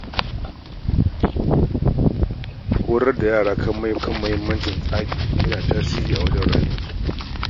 Horar da yara kan mahimmancin tsari ya na tasiri wajen rayuwar iyali.